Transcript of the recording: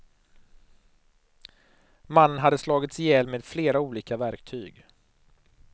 Mannen hade slagits ihjäl med flera olika verktyg.